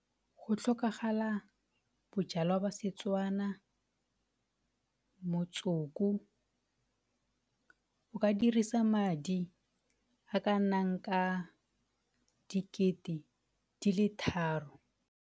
Go tlhokagala bojalwa ba Setswana, motsoko, o ka dirisa madi a kanang ka dikete di le tharo.